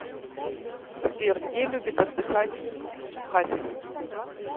сбер где любит отдыхать хасис